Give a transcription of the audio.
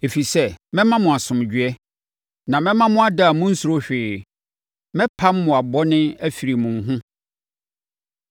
“ ‘Ɛfiri sɛ, mɛma mo asomdwoeɛ, na mɛma mo ada a monnsuro hwee. Mɛpam mmoa bɔne afiri mo ho.